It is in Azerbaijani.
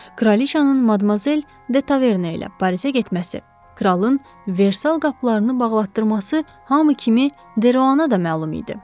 Kralıçanın Madmazel de Taverna ilə Parisə getməsi, kralın Versal qapılarını bağlatdırması hamı kimi Deruana da məlum idi.